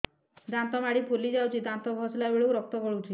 ଦାନ୍ତ ମାଢ଼ୀ ଫୁଲି ଯାଉଛି ଦାନ୍ତ ଘଷିଲା ବେଳକୁ ରକ୍ତ ଗଳୁଛି